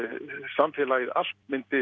samfélagið allt